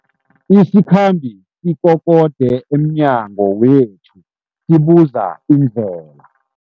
Isikhambi sikokode emnyango wethu sibuza indlela.